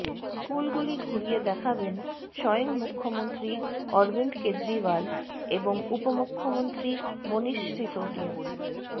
স্কুলগুলি ঘুরিয়ে দেখাবেন স্বয়ং মুখ্যমন্ত্রী অরবিন্দ কেজরিওয়াল এবং উপমুখ্যমন্ত্রী মনীশ সিসোদিয়া